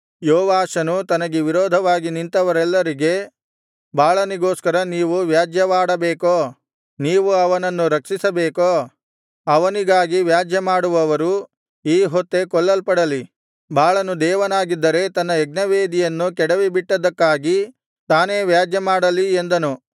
ಯೋವಾಷನು ತನಗೆ ವಿರೋಧವಾಗಿ ನಿಂತವರೆಲ್ಲರಿಗೆ ಬಾಳನಿಗೋಸ್ಕರ ನೀವು ವ್ಯಾಜ್ಯಮಾಡಬೇಕೋ ನೀವು ಅವನನ್ನು ರಕ್ಷಿಸಬೇಕೋ ಅವನಿಗಾಗಿ ವ್ಯಾಜ್ಯಮಾಡುವವರು ಈ ಹೊತ್ತೇ ಕೊಲ್ಲಲ್ಪಡಲಿ ಬಾಳನು ದೇವನಾಗಿದ್ದರೆ ತನ್ನ ಯಜ್ಞವೇದಿಯನ್ನು ಕೆಡವಿಬಿಟ್ಟದ್ದಕ್ಕಾಗಿ ತಾನೇ ವ್ಯಾಜ್ಯಮಾಡಲಿ ಎಂದನು